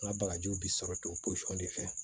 N ka bagajiw bi sɔrɔ ten posɔn de fɛ